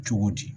Cogo di